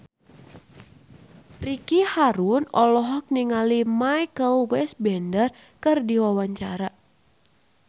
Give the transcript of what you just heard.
Ricky Harun olohok ningali Michael Fassbender keur diwawancara